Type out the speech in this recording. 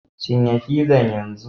Cinye fizan yanzu!